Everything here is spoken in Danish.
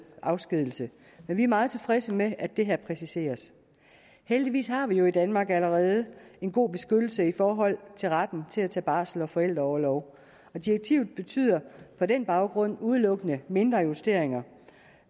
afskedigelse men vi er meget tilfredse med at det her præciseres heldigvis har vi jo i danmark allerede en god beskyttelse i forhold til retten til at tage barsels og forældreorlov og direktivet betyder på den baggrund udelukkende mindre justeringer